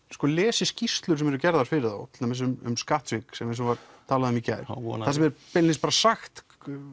lesi skýrslur sem eru gerðar fyrir þá til dæmis um skattsvik eins og var talað um í gær þar sem er beinlínis sagt